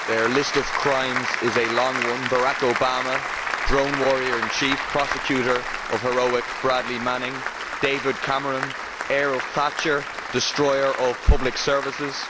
Their list of crimes is a long one Barack Obama, drone warrior in chief, prosecutor of heroic Bradley Manning David Cameron, heir of Thatcher, destroyer of public services